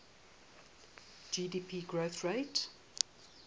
gdp growth rate